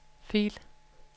fil